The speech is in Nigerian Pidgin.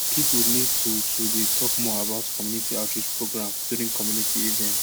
people need to to dey talk more about community outreach programs during community events